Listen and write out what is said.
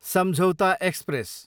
सम्झौता एक्सप्रेस